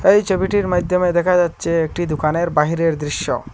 এই ছবিটির মাইধ্যমে দেখা যাচ্ছে একটি দুকানের বাহিরের দৃশ্য।